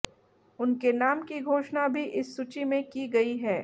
उनके नाम की घोषणा भी इस सूची में की गई है